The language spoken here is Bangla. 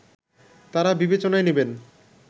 তারা বিবেচনায় নেবেন